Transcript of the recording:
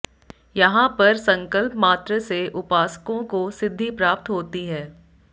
यहां पर संकल्प मात्र से उपासकों को सिध्दि प्राप्त होती है